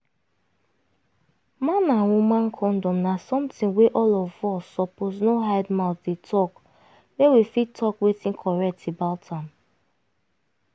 man and woman condom na something wey all of us suppose no hide mouth dey talk make we fit talk wetin correct about am